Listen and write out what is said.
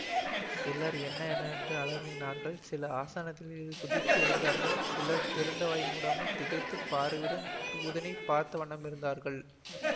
சிலர் என்ன என்ன என்று அலறினார்கள் சிலர் ஆசனத்திலிருந்து குதித்து எழுந்தார்கள் சிலர் திறந்த வாய் மூடாமல் திகைத்த பார்வையுடன் தூதனைப் பார்த்தவண்ணமிருந்தார்கள்